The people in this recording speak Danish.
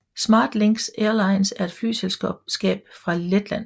SmartLynx Airlines er et flyselskab fra Letland